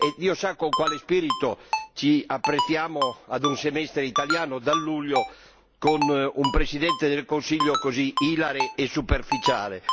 Dio sa con quale spirito ci apprestiamo a un Semestre italiano da luglio con un Presidente del Consiglio così ilare e superficiale.